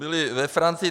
Byly ve Francii.